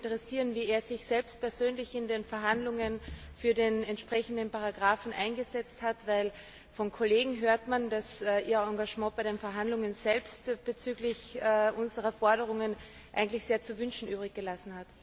Mich interessiert, wie er sich selbst persönlich in den Verhandlungen für den entsprechenden Paragraphen eingesetzt hat, denn von Kollegen hört man, dass sein Engagement bei den Verhandlungen selbst bezüglich unserer Forderungen eigentlich sehr zu wünschen übrig gelassen hat.